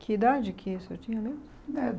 Que idade que o senhor tinha mesmo?